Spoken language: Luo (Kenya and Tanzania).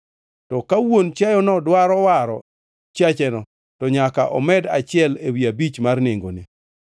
To ka wuon chiayono dwaro waro chiacheno, to nyaka omed achiel ewi abich mar nengone.